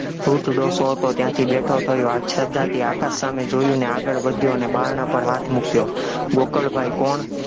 વૃદ્ધ ડોસો હતો, ત્યાંથી બેઠો થયો, આચ્છાદ્યથી આકાશ સામે જોયું અને આગળ વધ્યો અને બારણાં પર હાથ મુક્યો, ગોકળગાય કોણ?